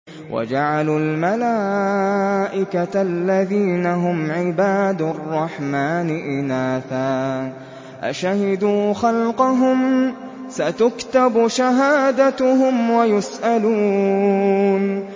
وَجَعَلُوا الْمَلَائِكَةَ الَّذِينَ هُمْ عِبَادُ الرَّحْمَٰنِ إِنَاثًا ۚ أَشَهِدُوا خَلْقَهُمْ ۚ سَتُكْتَبُ شَهَادَتُهُمْ وَيُسْأَلُونَ